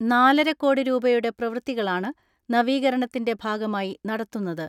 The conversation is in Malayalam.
നാലരക്കോടി രൂപയുടെ പ്രവൃത്തികളാണ് നവീകരണത്തിന്റെ ഭാഗമായി നടത്തുന്ന ത്.